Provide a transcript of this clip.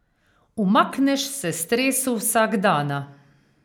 Umakneš se stresu vsakdana.